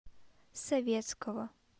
советского